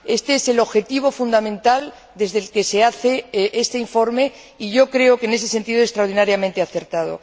Este es el objetivo fundamental desde el que se hace este informe y yo creo que, en ese sentido, es extraordinariamente acertado.